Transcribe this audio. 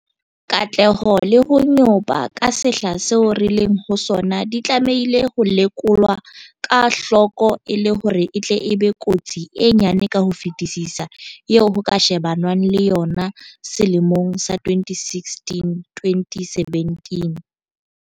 Katleho le ho nyopa ka sehla seo re leng ho sona di tlamehile ho lekolwa ka hloko e le hore e tle e be kotsi e nyane ka ho fetisisa eo ho ka shebanwang le yona selemong sa 2016 2017.